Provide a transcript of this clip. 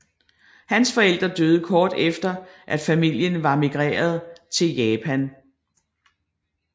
Hans forældre døde kort efter at familien var migreret til Japan